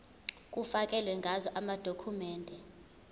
kufakelwe ngazo amadokhumende